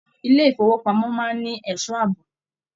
Ilé ifowopamọ máa n ní ẹsọ́ ààbò.